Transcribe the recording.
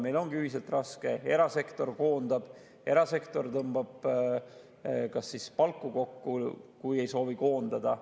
Meil ongi ühiselt raske, erasektor koondab, erasektor tõmbab ka palku kokku, kui ei soovi koondada.